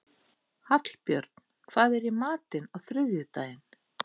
Hallbjörn, hvað er í matinn á þriðjudaginn?